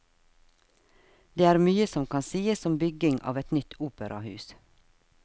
Det er mye som kan sies om bygging av et nytt operahus.